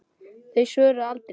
Þau svöruðu aldrei.